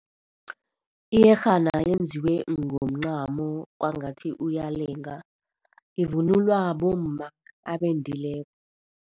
Iyerhana yenziwe ngomncamo, kwangathi uyalenga. Ivunulwa bomma abendileko.